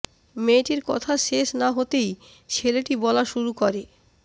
মেয়েটির কথা শেষ না হতেই ছেলেটি বলা শুরু করে